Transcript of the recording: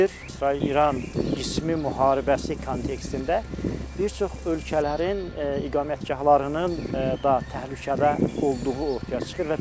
İsrail-İran qismi müharibəsi kontekstində bir çox ölkələrin iqamətgahlarının da təhlükədə olduğu ortaya çıxır.